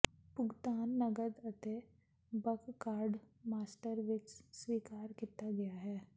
ਭੁਗਤਾਨ ਨਕਦ ਅਤੇ ਬਕ ਕਾਰਡ ਮਾਸਟਰ ਵਿਚ ਸਵੀਕਾਰ ਕੀਤਾ ਗਿਆ ਹੈ